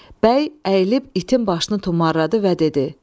Bəy əyilib itin başını tumarladı və dedi: